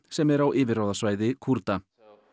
sem er á yfirráðasvæði Kúrda